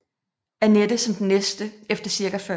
Anette som den næste efter cirka 40